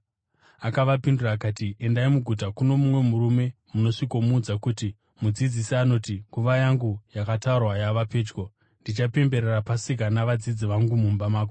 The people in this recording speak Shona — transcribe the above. Akavapindura akati, “Endai muguta kuno mumwe murume munosvikomuudza kuti, ‘Mudzidzisi anoti: Nguva yangu yakatarwa yava pedyo. Ndichapemberera Pasika navadzidzi vangu mumba mako.’ ”